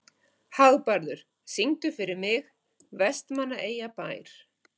Hagbarður, syngdu fyrir mig „Vestmannaeyjabær“.